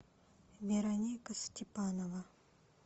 вероника степанова